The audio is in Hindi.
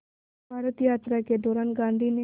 इस भारत यात्रा के दौरान गांधी ने